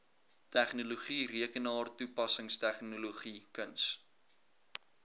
tegnologie rekenaartoepassingstegnologie kuns